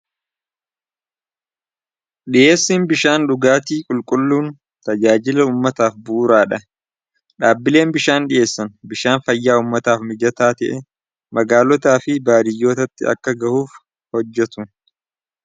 Dhi'eessiin bishaan dhugaatii qulqulluun tajaajila ummataaf buuraa dha dhaabbileen bishaan dhi'eessan bishaan fayyaa ummataaf mijataa ta'e magaalotaa fi baadiyyootatti akka gahuuf hojjetu.